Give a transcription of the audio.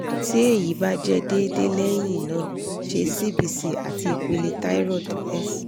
ti eyi ba jẹ deede leyin naa ṣe cbc ati ipele thyroid s